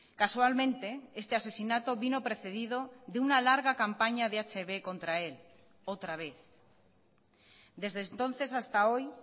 casualmente este asesinato vino precedido de una larga campaña de hb contra él otra vez desde entonces hasta hoy